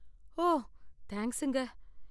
ஓ, தேங்கஸுங்க.